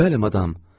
Bəli, madam.